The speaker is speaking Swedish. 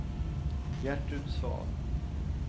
Gertrud Svahn